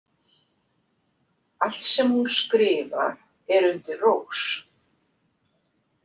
Allt sem hún skrifar er undir rós.